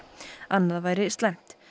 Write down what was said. annað væri slæmt